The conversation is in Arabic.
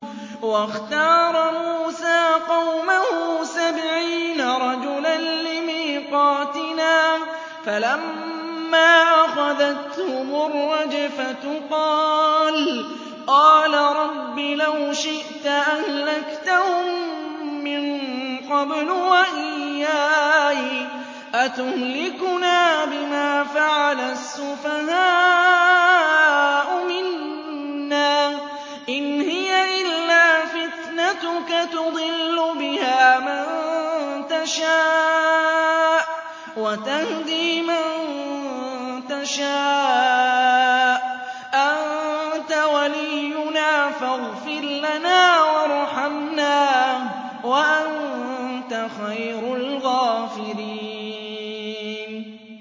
وَاخْتَارَ مُوسَىٰ قَوْمَهُ سَبْعِينَ رَجُلًا لِّمِيقَاتِنَا ۖ فَلَمَّا أَخَذَتْهُمُ الرَّجْفَةُ قَالَ رَبِّ لَوْ شِئْتَ أَهْلَكْتَهُم مِّن قَبْلُ وَإِيَّايَ ۖ أَتُهْلِكُنَا بِمَا فَعَلَ السُّفَهَاءُ مِنَّا ۖ إِنْ هِيَ إِلَّا فِتْنَتُكَ تُضِلُّ بِهَا مَن تَشَاءُ وَتَهْدِي مَن تَشَاءُ ۖ أَنتَ وَلِيُّنَا فَاغْفِرْ لَنَا وَارْحَمْنَا ۖ وَأَنتَ خَيْرُ الْغَافِرِينَ